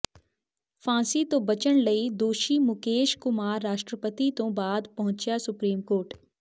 ਫਾਂਸੀ ਤੋਂ ਬਚਣ ਲਈ ਦੋਸ਼ੀ ਮੁਕੇਸ਼ ਕੁਮਾਰ ਰਾਸ਼ਟਰਪਤੀ ਤੋਂ ਬਾਅਦ ਪਹੁੰਚਿਆ ਸੁਪਰੀਮ ਕੋਰਟ